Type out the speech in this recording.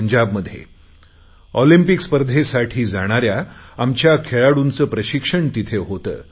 पंजाबमध्ये ऑलिम्पिक स्पर्धेसाठी जाणाऱ्या आमच्या खेळाडूंचे प्रशिक्षण तिथे होते